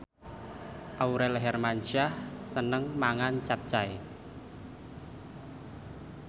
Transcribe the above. Aurel Hermansyah seneng mangan capcay